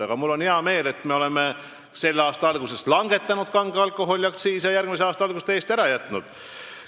Aga mul on hea meel, et me oleme selle aasta algusest langetanud kange alkoholi aktsiisi ja järgmise aasta algusest tõusu täiesti ära jätnud.